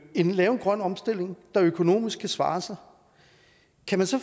kan lave en grøn omstilling der økonomisk kan svare sig kan man så